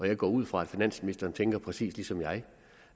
jeg går ud fra at finansministeren tænker præcis ligesom jeg